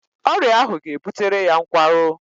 Ọrịa ahụ ga-ebutere ya nkwarụ